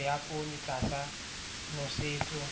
tlhahiso ya poone tlasa nosetso